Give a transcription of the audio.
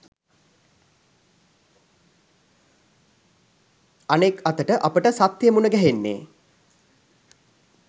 අනෙක් අතට අපට සත්‍ය මුණ ගැහෙන්නේ